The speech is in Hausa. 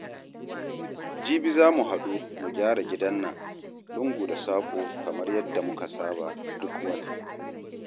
Jibi za mu haɗu mu gyara gidan nan, lungu da saƙo kamar yadda muka saba duk wata